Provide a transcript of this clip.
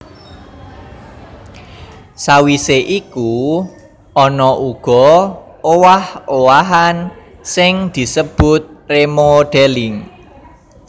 Sawisé iku ana uga owah owahan sing disebut remodelling